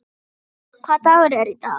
Tea, hvaða dagur er í dag?